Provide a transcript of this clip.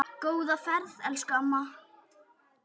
Góða ferð elsku amma.